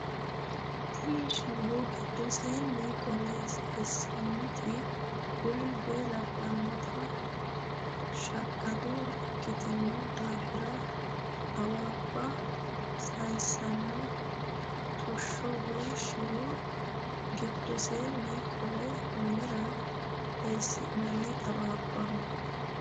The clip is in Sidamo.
Tini shiwo giddoseni qolle sayinsannite boombe labbanote shaqqado ikkitino daafira xawabba saysano xusho woyi shiwo giddoseni qolle minira eessi'nanni xawabbaho.